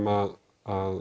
að